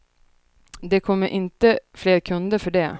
Det kommer inte fler kunder för det.